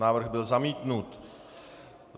Návrh byl zamítnut.